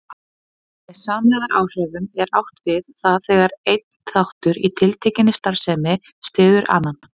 Í kvöld mætast Ísland og Þýskaland á Evrópumótinu en Dagný spjallaði við Fótbolta.net í gær.